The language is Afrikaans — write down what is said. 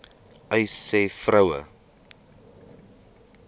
uys sê vroue